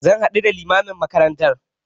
Zan haɗu da limamin makaranta